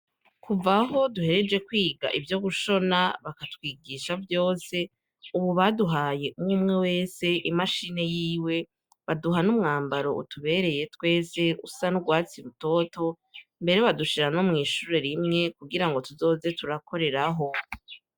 Kuvaho duhereje kwiga ivyo gushona bakatwigisha vyose, ubu baduhaye umwumwe wese imashini yiwe baduha n'umwambaro utubereye twese usa n' urwatsie utoto mbere badushira no mw'ishuro rimwe kugira ngo tuzoze turakoreraho.